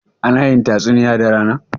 ana yin tatsuniya da rana?